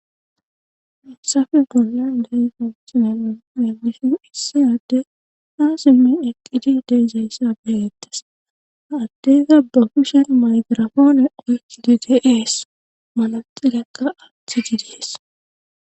Hayssappe bolla de'iya bitaniya be'ishin issi addey ha simmi eqqidi de'iza issa beettes. Ha addekka ba kushen makirafoone oyikkidi dees. Manaxirekka aathidi dees.